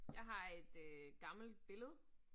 Jeg har et øh gammelt billede